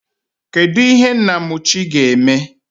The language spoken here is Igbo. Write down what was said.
Kedụ ihe Nnamuchi ga-eme?